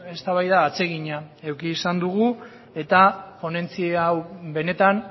eztabaida atsegina eduki izan dugu eta ponentzia hau benetan